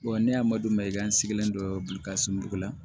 ne y'a madon mayiga in sigilen don boli ka sunugu la